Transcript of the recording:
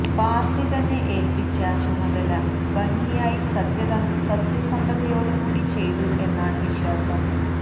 party തന്നെ ഏല്പ്പിച്ച ചുമതല ഭംഗിയായി സത്യസനധതയോടുകൂടി ചെയ്തു എന്നാണ് വിശ്വാസം